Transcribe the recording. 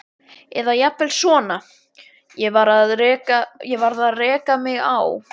Eða jafnvel svona: Ég varð að reka mig á.